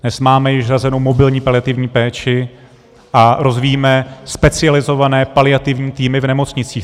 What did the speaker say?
Dnes máme již hrazenu mobilní paliativní péči a rozvíjíme specializované paliativní týmy v nemocnicích.